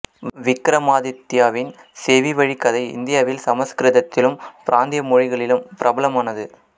விக்ரமாதித்யாவின் செவி வழிக்கதை இந்தியாவில் சமஸ்கிருதத்திலும் பிராந்திய மொழிகளிலும் பிரபலமானது